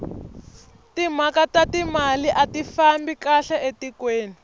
timhaka ta timali ati fambi kahle etikweni